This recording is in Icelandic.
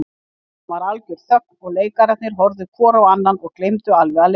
Síðan varð algjör þögn og leikararnir horfðu hvor á annan og gleymdu alveg að leika.